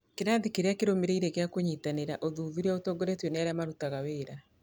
Kĩrathi kĩrĩa kĩrũmĩrĩire gĩa kũnyitanĩra: ũthuthuria ũtongoretio nĩ arĩa marutaga wĩra